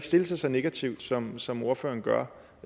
stille sig så negativt som som ordføreren gør